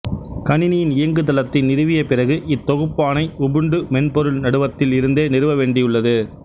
கணினியின் இயக்குதளத்தை நிறுவிய பிறகு இத்தொகுப்பானை உபுண்டு மென்பொருள் நடுவத்தில் இருந்தே நிறுவ வேண்டியுள்ளது